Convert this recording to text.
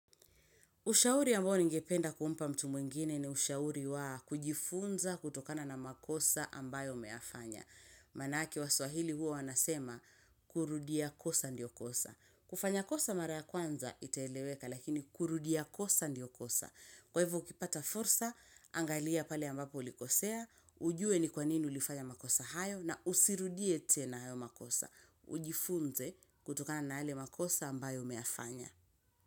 Ushauri ambao ningependa kumpa mtu mwingine ni ushauri wa kujifunza kutokana na makosa ambayo ameyafanya. Maanake waswahili huwa wanasema kurudia kosa ndio kosa. Kufanya kosa mara ya kwanza itaeleweka lakini kurudia kosa ndio kosa. Kwa hivyo ukipata fursa, angalia pale ambapo ulikosea, ujue ni kwa nini ulifanya makosa hayo na usirudie tena hayo makosa. Ujifunze kutokana na yale makosa ambayo umeyafanya.